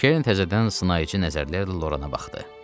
Kern təzədən sınayıcı nəzərlərlə Lorana baxdı.